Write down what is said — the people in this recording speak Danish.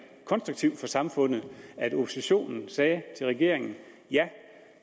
konstruktivt for samfundet at oppositionen sagde til regeringen ja